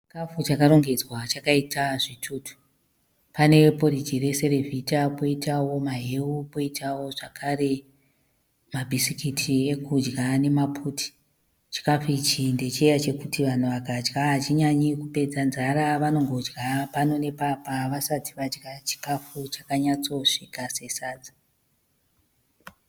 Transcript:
Chikafu chakarongedzwa chakaita zvitutu. Pane poriji reserevhita poitao maheu poitao zvakare ma bhisikiti ekudya nemaputi. chikafu ichi ndechiya chekuti vanhu vakadya hachinyanyi kupedza nzara vanongodya pano nepapa vasati vadya chikafu chakanyatsosvika sesadza.